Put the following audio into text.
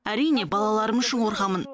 әрине балаларым үшін қорқамын